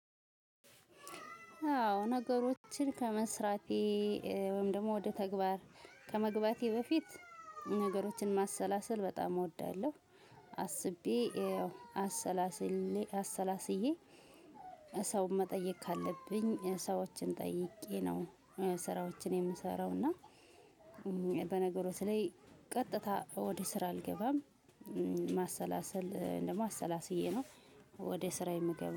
አዎ ነገሮችን ከመስራቴ እ ወይም ደግሞ ወደ ተግባር ከመግባቴ በፊት ነገሮችን ማሰላሰል በጣም እወዳለሁ። አስቤ አሰላስዬ አሰላስዬ ሰውን መጠየቅ ካለብኝ እ ሰዎችን ጠይቄ ነው። ስራዎችን የምሰራው እና እ በነገሮት ላይ ቀጥታ ወደ ስራ አልገባም። እ ማሰላሰል ደግሞ አሰላስዬ ነው ወደ ስራዬ ምገባው